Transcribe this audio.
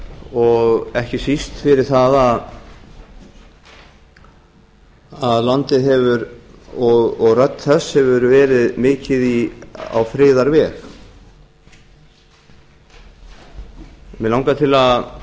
og ekki síst fyrir það að landið og rödd þess hefur verið mikið á friðarveg mig langar til að